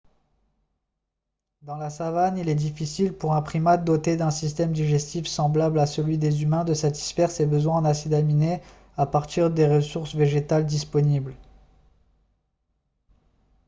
dans la savane il est difficile pour un primate doté d'un système digestif semblable à celui des humains de satisfaire ses besoins en acides aminés à partir des ressources végétales disponibles